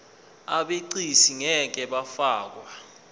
abegcis ngeke bafakwa